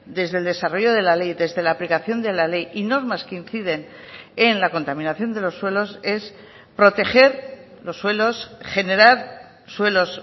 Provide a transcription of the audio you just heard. desde el desarrollo de la ley desde la aplicación de la ley y normas que inciden en la contaminación de los suelos es proteger los suelos generar suelos